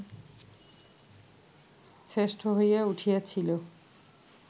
শ্রেষ্ঠ হইয়া উঠিয়াছিল